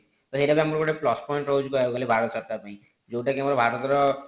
ତ ସେଇଟା ତ ଗୋଟେ plus point ରହୁଛି ଭାରତ ସରକାର ପାଇଁ ଯେଉଁ ଟା କି ଆମର ଭାରତ ର